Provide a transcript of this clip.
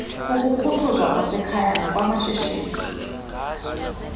ukukhuthuza kwasekhaya nokwamashishini